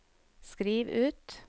skriv ut